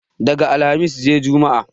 Daga alhamis sai jumma